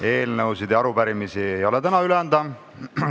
Eelnõusid ega arupärimisi ei ole täna üle anda.